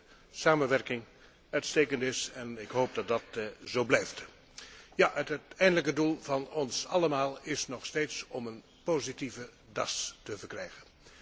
Ik denk dat de samenwerking uitstekend is en ik hoop dat dat zo blijft. Het uiteindelijke doel van ons allemaal is nog steeds om een positieve DAS te verkrijgen.